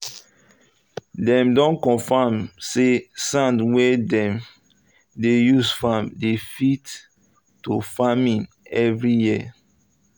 them don confam say sand wey dem um dey use farm dey fit to farming every year.